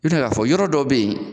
N bɛ se k'a fɔ yɔrɔ dɔw bɛ yen